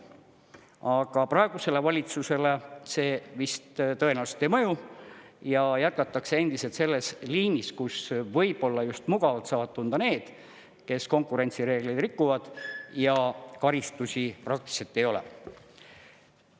Aga praegusele valitsusele see vist ei mõju ja jätkatakse endiselt selles liinis, kus võib-olla just mugavalt saavad tunda need, kes konkurentsireegleid rikuvad ja karistusi praktiliselt ei ole.